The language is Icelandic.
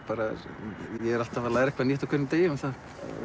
ég er alltaf að læra eitthvað nýtt á hverjum degi um það